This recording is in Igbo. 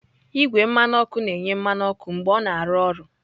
Igwe mmanụ ọkụ na-enye mmanụ ọkụ mgbe ọ na-arụ ọrụ.